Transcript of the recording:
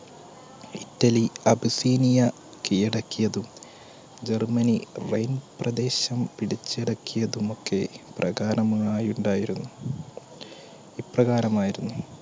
Italy Abyssinia കീഴടക്കിയതും, Germany പ്രദേശം പിടിച്ചടക്കിയതും ഒക്കെ പ്രധാനമായി ഉണ്ടായിരുന്നു. ഇപ്രകാരമായിരുന്നു.